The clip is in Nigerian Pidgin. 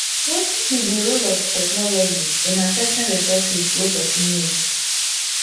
wetin be di role of technology in accessing resources wey pesin need